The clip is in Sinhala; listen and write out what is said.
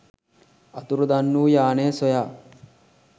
අතුරුදන් වූ යානය සොයා